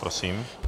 Prosím.